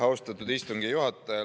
Austatud istungi juhataja!